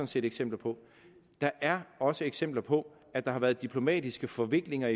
set eksempler på der er også eksempler på at der har været diplomatiske forviklinger